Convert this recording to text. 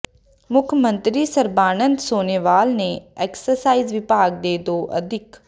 ਮੁੱਖ ਮੰਤਰੀ ਸਰਬਾਨੰਦ ਸੋਨੋਵਾਲ ਨੇ ਐਕਸਾਈਜ਼ ਵਿਭਾਗ ਦੇ ਦੋ ਅਧਿਕ